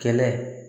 Kɛlɛ